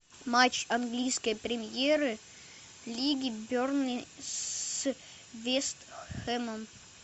матч английской премьер лиги бернли с вест хэмом